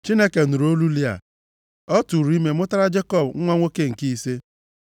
Chineke nụrụ olu Lịa, ọ tụụrụ ime mụtara Jekọb nwa nwoke nke ise.